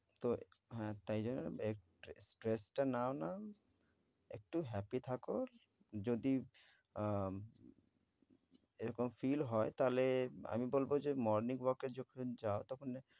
তো হ্যাঁ তাই জন্যে এ ~ট্রেস stress টা নাও না, একটু happy থাকো। যদি উম এরকম feel হয় তাহলে আমি বলব যে morning walk এ যখন যাও তখন